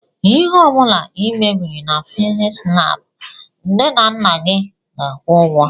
ihe ọbula i mebiri na fiziks lab nne na nna gị ga-akwu ụgwọ.